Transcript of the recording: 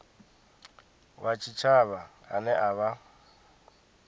wa tshitshavha ane a vha